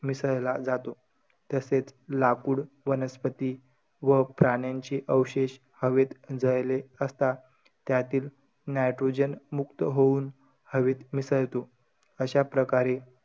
मिसळला जातो. तसेच लाकूड, वनस्पती व प्राण्यांचे अवशेष हवेत जळले असता. त्यातील nitrogen मुक्त होऊन हवेत मिसळतो. अशा प्रकारे,